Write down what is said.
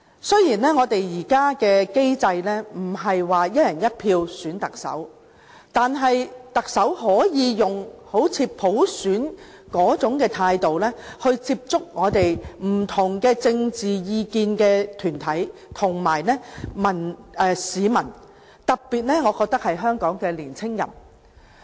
雖然我們現在的機制不是"一人一票"選特首，但特首可以採用好像普選般的態度，來接觸持不同政見的團體及市民，特別是香港的年青人。